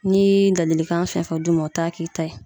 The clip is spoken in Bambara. N'i ye ladilikan fɛn fɛn d'u ma, u t'a k'i ta ye.